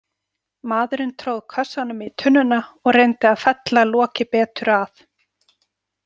Maðurinn tróð kössunum í tunnuna og reyndi að fella lokið betur að.